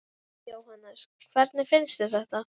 Jóhannes: Hvernig finnst þér þetta?